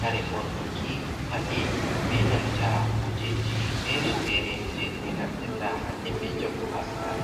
kare bornuki, paɗe ɓe nanta kujeji fere fere jebe naftirta hanɗe ɓe jango ha sare.